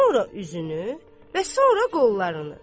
Sonra üzünü və sonra qollarını.